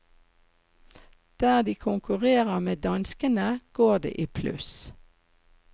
Der de konkurrerer med danskene, går det i pluss.